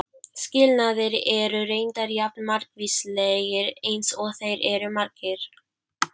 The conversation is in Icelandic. Skilnaðir eru reyndar jafn margvíslegir eins og þeir eru margir.